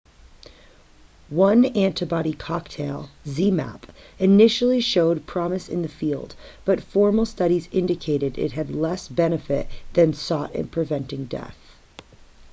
one antibody cocktail zmapp initially showed promise in the field but formal studies indicated it had less benefit than sought in preventing death